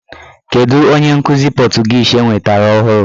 Kedụ onye nkụzi pọtụgiizi enwetara ọhụrụ?